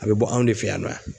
A bɛ bɔ anw de fɛ yan nɔ yan.